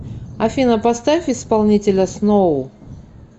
афина поставь исполнителя сноу